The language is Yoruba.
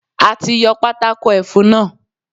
A ti yọ Pátákó ẹfun náà.